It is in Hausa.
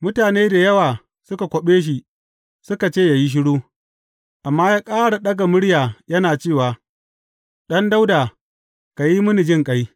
Mutane da yawa suka kwaɓe shi, suka ce yă yi shiru, amma ya ƙara ɗaga murya yana cewa, Ɗan Dawuda, ka yi mini jinƙai!